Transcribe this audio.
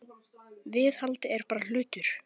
Viðhald er bara hlutur.